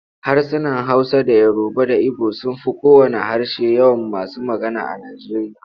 Harsunan Hausa da Yoruba da Ibo sun fi kowanne harshe yawan masu magana a Nijeriya.